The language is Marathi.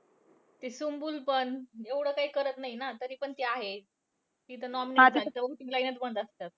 ती सुम्बूल पण एवढं काही करत नाही ना. तरी पण ती आहे. ती तर nominate झाली असतात.